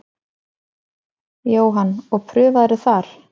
Jóhann: Og prufaðirðu þar?